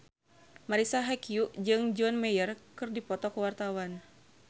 Marisa Haque jeung John Mayer keur dipoto ku wartawan